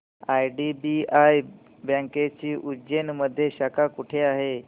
IDBI बँकेची उज्जैन मध्ये शाखा कुठे आहे